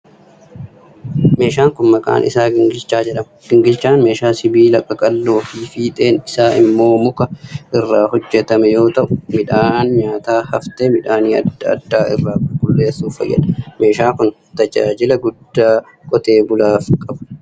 Meeshaan kun, maqaan isaa gingilchaa jedhama. Gingilchaan meeshaa sibiila qaqalloo fi fiixeen isaa immoo muka irraa hojjatame yoo ta'u, midhaan nyaataa haftee midhaanii adda addaa irraa qulqulleessuuf fayyada. Meeshaan kun, tajaajila guddaa qotee bultootaf qaba.